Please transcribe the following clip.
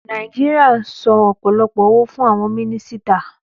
Nàìjíríà n san ọ̀pọ̀lọpọ̀ owó fún àwon mínísítà